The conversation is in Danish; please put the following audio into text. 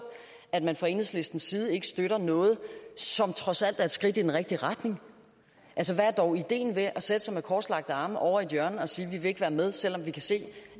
at man fra enhedslisten side ikke støtter noget som trods alt er et skridt i den rigtige retning hvad er dog ideen med at sætte sig med korslagte arme ovre i et hjørne og sige vi vil ikke være med selv om vi kan se